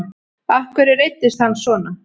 Af hverju reiddist hann svona?